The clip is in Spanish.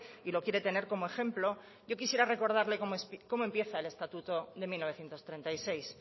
y lo quiere tener como ejemplo yo quisiera recordarle como empieza el estatuto de mil novecientos treinta y seis